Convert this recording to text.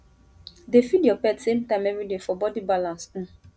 dey feed your pet same time every day for body balance um